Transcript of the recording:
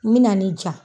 N bɛ na ni ja